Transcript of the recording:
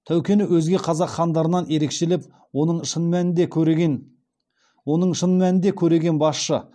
тәукені өзге қазақ хандарынан ерекшелеп оның шын мәнінде көреген басшы